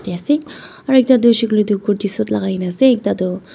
ase aro ekta du huishe hoile toh kurti suit lagaigena ase ekta du.